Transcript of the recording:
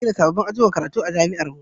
Za a gina sabbabin ajujuwan karatu a jami'ar mu